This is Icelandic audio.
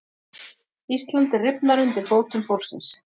Íslandið rifnar undir fótum fólksins